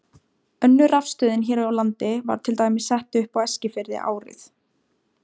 Önnur rafstöðin hér á landi var til dæmis sett upp á Eskifirði árið